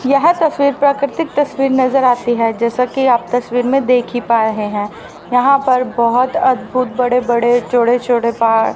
यह तस्वीर प्राकृतिक तस्वीर नजर आती है जैसा कि आप तस्वीर में देखी पाए हैं यहां पर बहोत अद्भुत बड़े बड़े चोड़े चोड़े पहाड़--